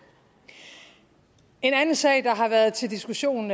en anden sag der har været til diskussion